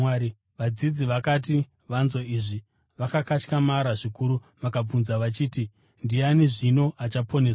Vadzidzi vakati vanzwa izvi vakakatyamara zvikuru vakabvunza vachiti, “Ndiani zvino achaponeswa?”